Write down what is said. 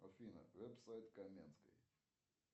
афина веб сайт каменской